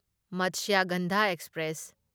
Matsyagandha express